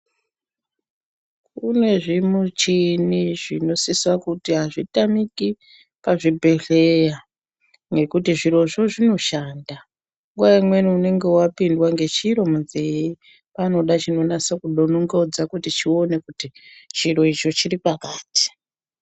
Kune zvi muchini zvinosisa kuti azvi tamiki pa zvibhedhleya nekuti zvirozvo zvino shanda nguva imweni unenge wapindwa nge chiro munze panoda chino nase ku donongodza kuti chione kuti chiro icho chiri pakati.